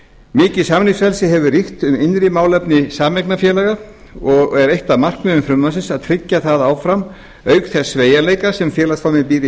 mikið samningsfrelsi hefur ríkt um innri málefni sameignarfélaga og er eitt af markmiðum frumvarpsins að tryggja það áfram auk þess sveigjanleika sem félagsformið býr